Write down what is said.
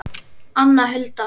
Anna Hulda.